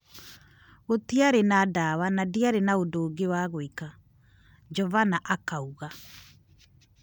"Gũtiarĩ na dawa na ndiarĩ na ũndũ ũngĩ wa gwika," Jovana akauga.